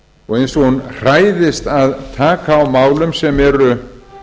og eins og hún hræðist að taka á málum sem eru